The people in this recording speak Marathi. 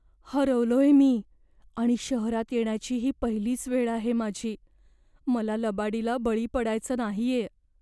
हरवलोय मी आणि शहरात येण्याची ही पहिलीच वेळ आहे माझी. मला लबाडीला बळी पडायचं नाहीये.